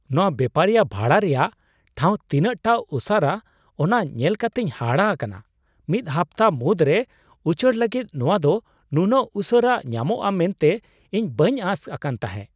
ᱱᱚᱶᱟ ᱵᱮᱯᱟᱨᱤᱭᱟᱹ ᱵᱷᱟᱲᱟ ᱨᱮᱭᱟᱜ ᱴᱷᱟᱶ ᱛᱤᱱᱟᱹᱜ ᱴᱟ ᱚᱥᱟᱨᱟ, ᱚᱱᱟ ᱧᱮᱞ ᱠᱟᱛᱮᱧ ᱦᱟᱦᱟᱲᱟᱜ ᱟᱠᱟᱱᱟ ᱾ ᱢᱤᱫ ᱦᱟᱯᱛᱟ ᱢᱩᱫᱽᱨᱮ ᱩᱪᱟᱹᱲ ᱞᱟᱹᱜᱤᱫ ᱱᱚᱶᱟ ᱫᱚ ᱱᱩᱱᱟᱹᱜ ᱩᱥᱟᱹᱨᱟ ᱧᱟᱢᱚᱜᱼᱟ ᱢᱮᱱᱛᱮ ᱤᱧ ᱵᱟᱹᱧ ᱟᱸᱥ ᱟᱠᱟᱱ ᱛᱟᱦᱮᱸ !